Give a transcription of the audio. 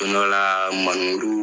Don dɔ la